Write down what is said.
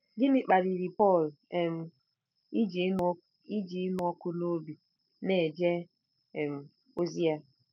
Gịnị kpaliri Pọl um iji ịnụ iji ịnụ ọkụ n'obi na-eje um ozi ya?